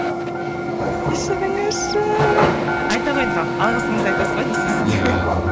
кешіріңізші айта қойыңыз ал алғысыңызды айтасыз ба не істейсіз иә